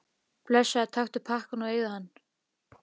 Blessaður, taktu pakkann og eigðu hann.